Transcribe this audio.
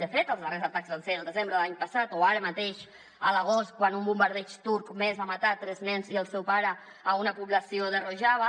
de fet els darrers atacs van ser al desembre de l’any passat o ara mateix a l’agost quan un bombardeig turc més va matar tres nens i el seu pare a una població de rojava